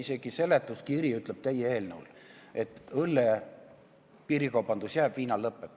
Isegi teie eelnõu seletuskiri ütleb, et õlle piirikaubandus jääb, viina oma lõppeb.